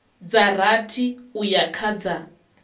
dza rathi uya kha dza